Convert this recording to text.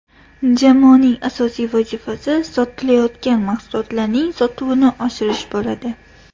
Jamoaning asosiy vazifasi sotilayotgan mahsulotlarning sotuvini oshirish bo‘ladi.